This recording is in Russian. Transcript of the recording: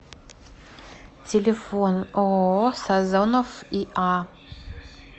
телефон ооо сазонов иа